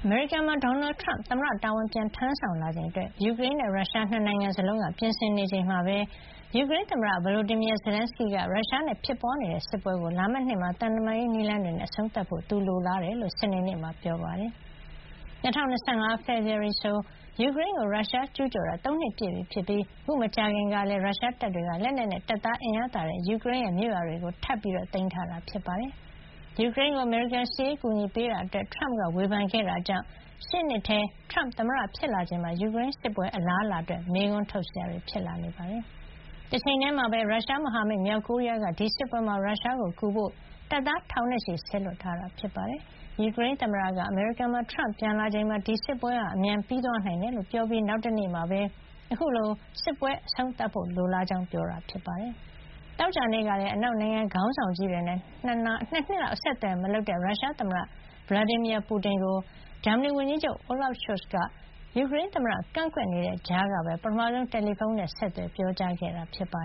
မေရိကန်မှာ ဒေါ်နယ်ထရမ့် သမ္မတ တာဝန် ပြန်ထမ်းဆောင်လာချိန်အတွက် ယူကရိန်းနဲ့ ရုရှား ၂ နိုင်ငံစလုံးက ပြင်ဆင်နေချိန်မှာပဲ ယူကရိန်းသမ္မတ Volodymyr Zelensky က ရုရှားနဲ့ ဖြစ်ပွါးနေတဲ့စစ်ပွဲကို လာမယ့်နှစ်ထဲမှာ သံတမန်ရေး နည်းလမ်းတွေနဲ့ အဆုံးသတ်ဖို့ သူလိုလားကြောင်း စနေနေ့မှာ ပြောကြားလိုက်ပါတယ်။ လာမယ့် ၂၀၂၅ ဖေဖေါ်ဝါရီလဆို ယူကရိန်းကို ရုရှားကျူးကျော်တာ ၃ နှစ်ပြည့်ပြီဖြစ်ပြီး အခုမကြာခင်လတွေ အတွင်းမှာလည်း ရုရှားတပ်တွေက လက်နက်နဲ့ တပ်သား အင်အားသာတဲ့ ယူကရိန်းရဲ့ ပိုင်နက်ထဲမှာ မြို့ရွာတွေထပ်ပြီး သိမ်းပိုက်ထားတာ ဖြစ်ပါတယ်။ ယူကရိန်းကို အမေရိကန်က စစ်ရေး အကူညီပေးနေတာအတွက် အရွေးကောက်ခံသမ္မတ ထရမ့်က ဝေဖန်ခဲ့တာကြောင့် ရှေ့နှစ်ထဲ ထရမ့်သမ္မတ ဖြစ်လာချိန်မှာ ယူကရိန်းစစ်ပွဲ အလားအလာအတွက် မေးခွန်းထုတ်စရာ ဖြစ်လာနေတာပါ။ တချိန်ထဲမှာပဲ ရုရှားမဟာမိတ် မြောက်ကိုရီးယားက ဒီစစ်ပွဲမှာ ရုရှားပိုင်နက် Kursk ဒေသထဲ ရောက်နေတဲ့ ယူကရိန်းတွေကို တိုက်ထုတ်ပြီး ရုရှားကိုကူညီဖို့ တပ်သားထောင်နဲ့ချီ စေလွှတ်ထားတယ်လို့ အနောက်မဟာမိတ်တွေက ပြောပါတယ်။ ယူကရိန်းသမ္မတက အမေရိကန်မှာ ထရမ့် သမ္မတတာဝန် ပြန်ယူလာချိန်မှာ ဒီစစ်ပွဲဟာ အမြန်ပြီးသွားနိုင်တယ်လို့ ပြောခဲ့ပြီး နောက်တနေ့မှာပဲ အခုလို စစ်ပွဲအဆုံးသတ်ဖို့ လိုလားကြောင်း ပြောကြားခဲ့တာဖြစ်ပါတယ်။ သောကြာနေ့ကလည်း အနောက်နိုင်ငံခေါင်းဆောင်ကြီးတွေနဲ့ ၂ နှစ်လောက် အဆက်အသွယ်မလုပ်တဲ့ ရုရှားသမ္မတ Vladimir Putin ကို ဂျာမနီဝန်ကြီးချုပ် Olaf Scholz က ယူကရိန်းသမ္မတ ကန့်ကွက်တဲ့ကြားကပဲ ပထမဆုံး တယ်လီဖုံးဆက်သွယ် ပြောကြားခဲ့တာပါ